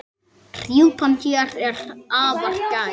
Rjúpan hér er afar gæf.